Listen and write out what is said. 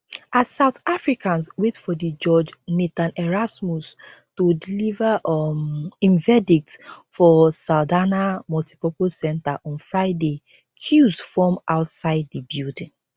as south africans wait for di judge nathan erasmus to deliver um im verdict for saldanha multipurpose centre on friday queues form outside di building